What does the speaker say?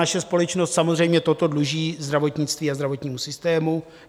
Naše společnost samozřejmě toto dluží zdravotnictví a zdravotnímu systému.